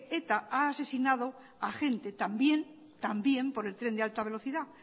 eta ha asesinado a gente también por el tren de alta velocidad